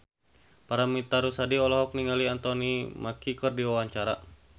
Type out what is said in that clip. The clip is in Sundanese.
Paramitha Rusady olohok ningali Anthony Mackie keur diwawancara